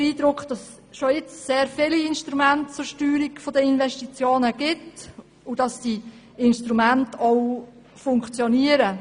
Wir haben den Eindruck, dass schon jetzt sehr viele Instrumente zur Steuerung der Investitionen vorhanden sind, und dass diese Instrumente auch funktionieren.